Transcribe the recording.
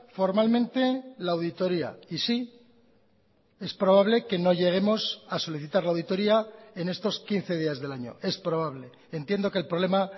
formalmente la auditoria y sí es probable que no lleguemos a solicitar la auditoria en estos quince días del año es probable entiendo que el problema